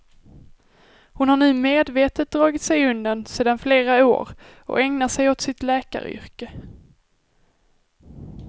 Hon har nu medvetet dragit sig undan sedan flera år, och ägnar sig åt sitt läkaryrke.